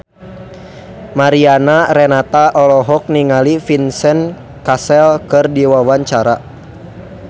Mariana Renata olohok ningali Vincent Cassel keur diwawancara